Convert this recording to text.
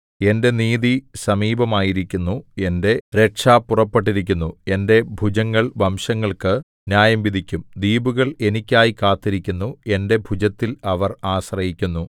എന്റെ നീതി സമീപമായിരിക്കുന്നു എന്റെ രക്ഷ പുറപ്പെട്ടിരിക്കുന്നു എന്റെ ഭുജങ്ങൾ വംശങ്ങൾക്കു ന്യായംവിധിക്കും ദ്വീപുകൾ എനിക്കായി കാത്തിരിക്കുന്നു എന്റെ ഭുജത്തിൽ അവർ ആശ്രയിക്കുന്നു